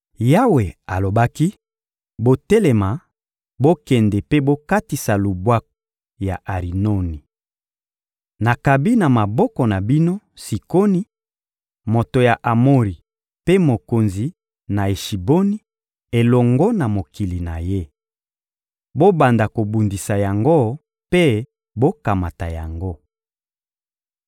Yawe alobaki: «Botelema, bokende mpe bokatisa lubwaku ya Arinoni. Nakabi na maboko na bino, Sikoni, moto ya Amori mpe mokonzi na Eshiboni, elongo na mokili na ye. Bobanda kobundisa yango mpe bokamata yango.